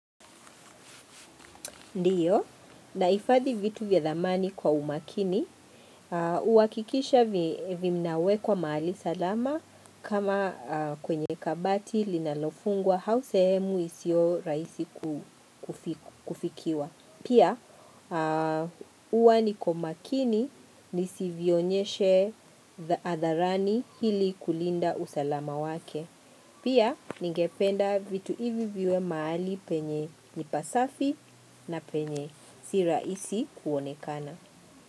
Ndiyo, nahifadhi vitu vya dhamani kwa umakini, uhakikisha vinawekwa mahali salama kama kwenye kabati linalofungwa hau sehemu isio raisi kufikiwa. Pia uwa niko makini nisivyonyeshe adharani hili kulinda usalama wake. Pia ningependa vitu hivi viwe mahali penye ni pasafi na penye siraisi kuonekana.